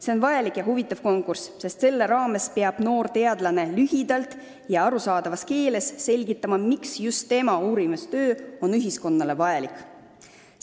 See on vajalik ja huvitav konkurss, kus noor teadlane peab lühidalt ja arusaadavas keeles selgitama, miks just tema uurimistöö on ühiskonnale vajalik.